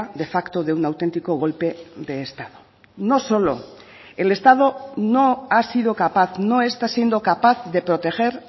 de facto de un auténtico golpe de estado no solo el estado no ha sido capaz no está siendo capaz de proteger